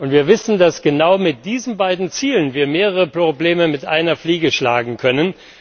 Wir wissen, dass wir genau mit diesen beiden Zielen mehrere Probleme mit einer Klappe schlagen können.